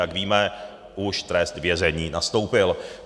Jak víme, už trest vězení nastoupil.